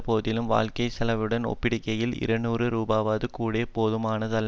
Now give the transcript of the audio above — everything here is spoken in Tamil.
போதிலும் வாழ்க்கை செலவுடன் ஒப்பிடுகையில் இருநூறு ரூபாவும் கூட போதுமானதல்ல